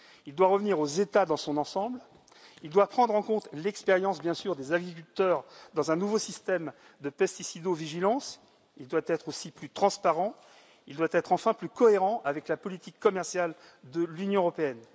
Il doit revenir aux États dans son ensemble, il doit prendre en compte l'expérience, bien sûr, des agriculteurs dans un nouveau système de pesticido vigilance, il doit aussi être plus transparent, il doit enfin être plus cohérent avec la politique commerciale de l'Union européenne.